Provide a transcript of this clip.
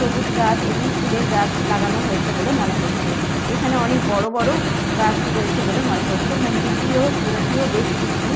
সবুজ গাছ এবং ফুলের গাছ লাগানো হয়েছে বলে মনে হচ্ছে। এখানে অনেক বড় বড় গাছ রয়েছে বলে মনে হচ্ছে। মন্দিরটিও চূড়াটিও বেশ উঁচু।